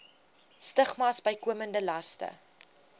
stigmas bykomende laste